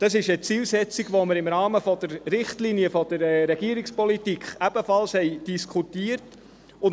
Das ist eine Zielsetzung, die wir im Rahmen der Richtlinien der Regierungspolitik ebenfalls diskutiert haben.